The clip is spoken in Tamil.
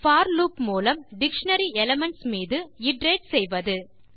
போர் லூப் மூலம் டிக்ஷனரி எலிமென்ட்ஸ் மீது இட்டரேட் செய்வது